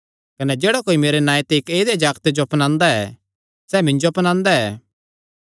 कने जेह्ड़ा कोई मेरे नांऐ ते इक्क ऐदेय जागते जो अपनांदा ऐ सैह़ मिन्जो अपनांदा ऐ